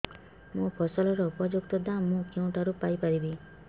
ମୋ ଫସଲର ଉପଯୁକ୍ତ ଦାମ୍ ମୁଁ କେଉଁଠାରୁ ପାଇ ପାରିବି